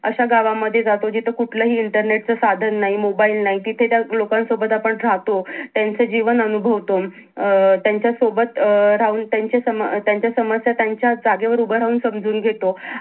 अश्या गावामध्ये जातो जिथं कुठलाही internet च साधन नाही mobile नाही तिथे त्या अं लोकांसोबत आपण राहतो त्यांचं जीवन अनुभवतो अं त्यांच्या सोबत अं राहून त्यांचे त्यांच्या समस्या त्यांच्या जागेवर उभं राहून समजून घेतो.